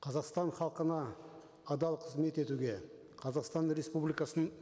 қазақстан халқына адал қызмет етуге қазақстан республикасының